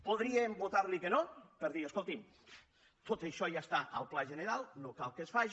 podríem votar·li que no per dir escolti’m tot això ja està al pla general no cal que es faci